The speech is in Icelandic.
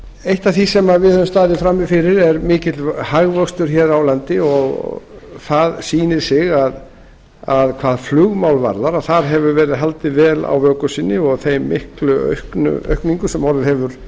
eitt af því sem við höfum staðið frammi fyrir er mikill hagvöxtur hér á landi og það sýnir sig að hvað flugmál varðar hafa menn haldið vel vöku sinni og þeirri miklu aukningu sem orðið hefur